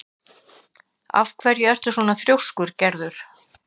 Af hverju ertu svona þrjóskur, Gerður?